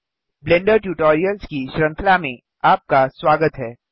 blender tutorials की श्रृंखला में आपका स्वागत है